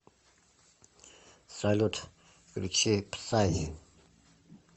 салют включи псай